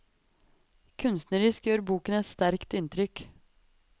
Kunstnerisk gjør boken et sterkt inntrykk.